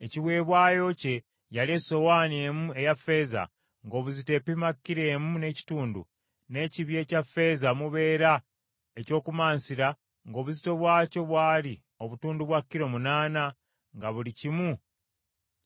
Ekiweebwayo kye yali esowaani emu eya ffeeza ng’obuzito epima kilo emu n’ekitundu, n’ekibya ekya ffeeza omubeera eby’okumansira ng’obuzito bwakyo bwali obutundu bwa kilo, munaana, nga buli kimu